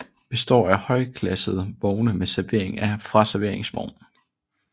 Består af højklassede vogne med servering fra serveringsvogn